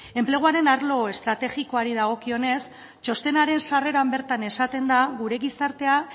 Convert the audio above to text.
enpleguaren arlo estrategikoari dagokionez txostenaren sarreran bertan esaten da gure gizartea